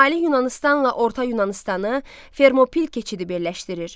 Şimali Yunanıstanla orta Yunanıstanı Fermopil keçidi birləşdirir.